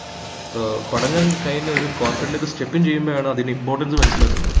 ഏർ പഠനം കഴിഞ്ഞ ഒരു corperate ലേക്ക് step in ചെയ്യുമ്പോളാണ് അതിന്റെ importance മനസ്സിലാകുന്നത്